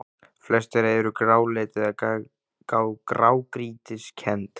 Flest þeirra eru gráleit eða grágrýtiskennd.